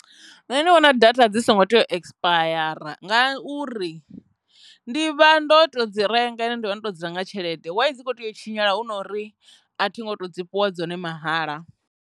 Nṋe ndi vhona data dzi songo tea ekisipayare ngauri ndi vha ndo to dzi renga ine ndo vha ndo dzula nga tshelede wa dzi kho tea u tshinyala hu nori a thi ngo to dzi fhiwa dzone mahala.